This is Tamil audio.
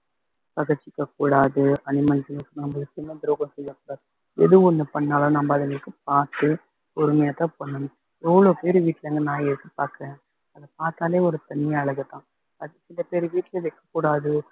பகைச்சுக்கக் கூடாது animals நம்ம சின்ன துரோகம் செய்யக் கூடாது எது ஒண்ணு பண்ணாலும் நம்ப அதுங்களுக்கு பாத்து பொறுமையாதான் பண்ணணும் எவ்ளோ பேரு வீட்ல இருந்து நாய பார்க்கிறேன் அத பார்த்தாலே ஒரு தனி அழகுதான் அது சில பேர் வீட்ல வைக்கக்கூடாது